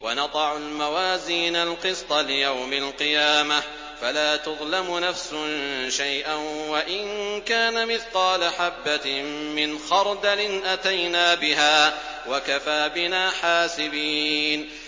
وَنَضَعُ الْمَوَازِينَ الْقِسْطَ لِيَوْمِ الْقِيَامَةِ فَلَا تُظْلَمُ نَفْسٌ شَيْئًا ۖ وَإِن كَانَ مِثْقَالَ حَبَّةٍ مِّنْ خَرْدَلٍ أَتَيْنَا بِهَا ۗ وَكَفَىٰ بِنَا حَاسِبِينَ